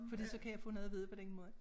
Fordi så kan jeg få noget at vide på den måde